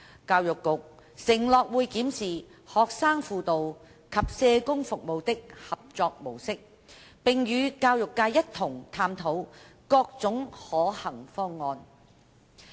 教育局承諾會檢視學生輔導及社工服務的合作模式，並與教育界一同探討各種可行方案。